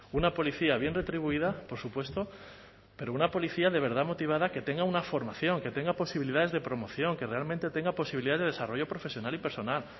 una policía bien retribuida por supuesto pero una policía de verdad motivada que tenga una formación que tenga posibilidades de promoción que realmente tenga posibilidad de desarrollo profesional y personal